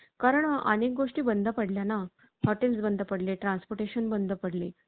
कारण आणि गोष्टी बंद पडल्या ना hotels बंद पडले. transportation बंद पडले.